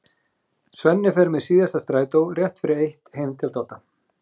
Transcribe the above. Svenni fer með síðasta strætó, rétt fyrir eitt, heim til Dodda.